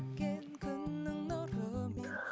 күннің нұрымен